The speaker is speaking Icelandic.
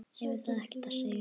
Hefur það ekkert að segja?